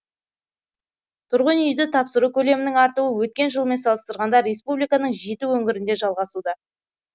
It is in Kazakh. тұрғын үйді тапсыру көлемінің артуы өткен жылмен салыстырғанда республиканың жеті өңірінде жалғасуда